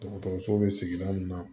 Dɔgɔtɔrɔso bɛ sigida min na